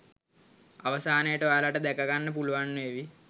අවසානයට ඔයාලට දැක ගන්න පුළුවන් වේවි